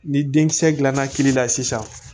Ni denkisɛ dilanna kili la sisan